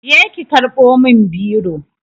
Je ki karɓo min biro